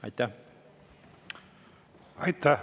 Aitäh!